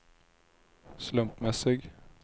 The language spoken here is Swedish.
slumpmässig